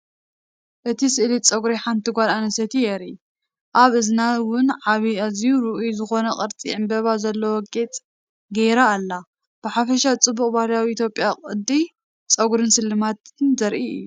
እቲ ስእሊ ጸጉሪ ሓንቲ ጓል ኣንስተይቲ የርኢ። ኣብ እዝና እውን ዓቢ ኣዝዩ ርኡይ ዝኾነ ቅርጺ ዕምባባ ዘለዎ ጌጽ ገይራ ኣላ። ብሓፈሻ ፅቡቕ ባህላዊ ኢትዮጵያዊ ቅዲ ፀጉርን ስልማትን ዘርኢ እዩ።